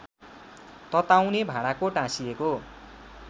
तताउने भाँडाको टाँसिएको